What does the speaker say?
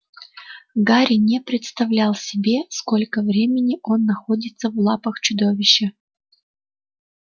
гарри не представлял себе сколько времени он находится в лапах чудовища